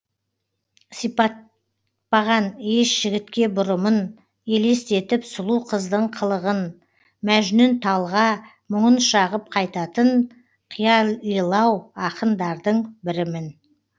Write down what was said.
сипатпаған еш жігітке бұрымын елестетіп сұлу қыздың қылығын мәжнүн талға мұңын шағып қайтатын қиялилау ақындардың бірімін